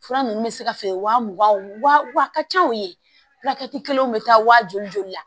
Fura ninnu bɛ se ka feere wa mugan wa ka ca o ye furakɛli kelenw bɛ taa waa joli joli la